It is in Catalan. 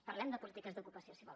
parlem de polítiques d’ocupació si vol